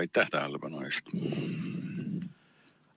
Aitäh tähelepanu eest!